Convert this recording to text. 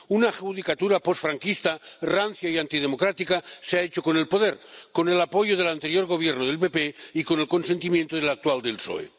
Una judicatura posfranquista, rancia y antidemocrática se ha hecho con el poder, con el apoyo del anterior Gobierno del PP y con el consentimiento del actual del PSOE.